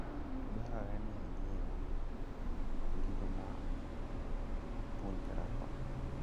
Dwarore ni anyiewu gigo ma apuonjrago.